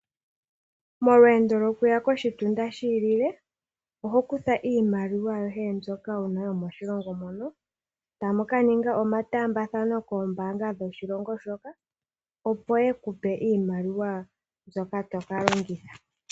Molweendo lo kuya koshitunda shilile oho kutha iimaliwa yoye mbyoka una yomoshilongo mono Tamu kaninga omatambadhano koombabga dhoshilongo shoka opo yekupe iimaliwa mbyoka tokalongidha.